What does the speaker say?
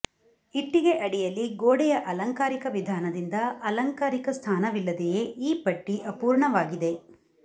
ಇಟ್ಟಿಗೆ ಅಡಿಯಲ್ಲಿ ಗೋಡೆಯ ಅಲಂಕಾರಿಕ ವಿಧಾನದಿಂದ ಅಲಂಕಾರಿಕ ಸ್ಥಾನವಿಲ್ಲದೆಯೇ ಈ ಪಟ್ಟಿ ಅಪೂರ್ಣವಾಗಿದೆ